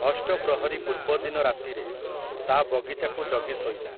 ଅଷ୍ଟପ୍ରହରୀ ପୂର୍ବଦିନ ରାତିରେ, ତା' ବଗିଚାକୁ ଜଗି ଶୋଇଲା ।